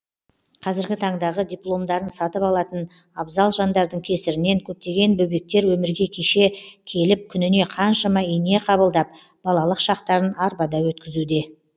қазіргі таңдағы дипомдарын сатып алатын абзал жандардың кесірінен көптеген бөбектер өмірге кеше келіп күніне қаншама ине қабылдап балалық шақтарын арбада өткізуде